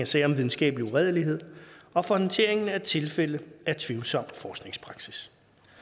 sager om videnskabelig uredelighed og for håndteringen af tilfælde af tvivlsom forskningspraksis